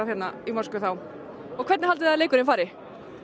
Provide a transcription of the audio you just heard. þá og hvernig haldiði að leikurinn fari